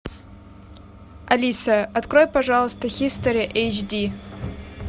алиса открой пожалуйста хистори эйч ди